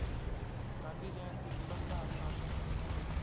गांधी जयंती निबंध आणि भाषण